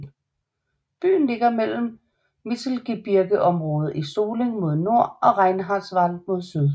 Byen ligger mellem Mittelgebirgeområdet Solling mod nord og Reinhardswald mod syd